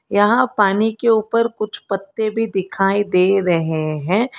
यहां पानी के ऊपर कुछ पत्ते भी दिखाई दे रहे हैं।